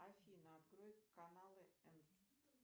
афина открой каналы